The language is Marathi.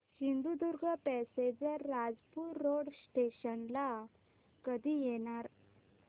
Sindhudurg passenger Rajapur road station ला कधी येणार